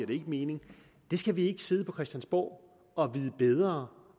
giver mening det skal vi ikke sidde på christiansborg og vide bedre